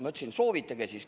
Ma ütlesin, et soovitage siis.